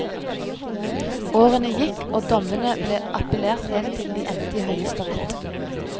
Årene gikk, og dommene ble appelert helt til de endte i høyesterett.